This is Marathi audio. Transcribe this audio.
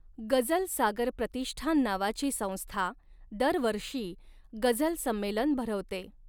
गजल सागर प्रतिष्ठान नावाची संस्था दरवर्षी गझल संमेलन भरवते.